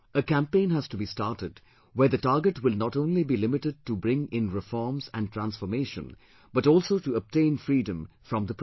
A campaign has to be started where the target will not only be limited to bring in reforms and transformation but also to obtain freedom from the problem